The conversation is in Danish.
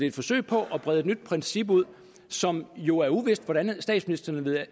et forsøg på at brede et nyt princip ud som jo er uvist hvordan statsministeren